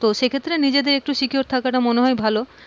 তো সেক্ষেত্রে নিজেকে একটু secure থাকা তা মনে হয় ভালো,